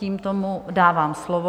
Tímto mu dávám slovo.